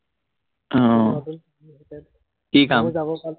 আহ কি কাম?